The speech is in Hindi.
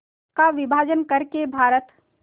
का विभाजन कर के भारत